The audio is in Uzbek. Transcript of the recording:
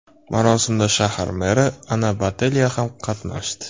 Marosimda shahar meri Ana Botelya ham qatnashdi.